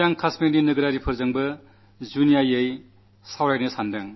ഇന്ന് കശ്മീരിലെ ജനങ്ങളോടു വിശേഷിച്ചു സംസാരിക്കാനാഗ്രഹിക്കുന്നു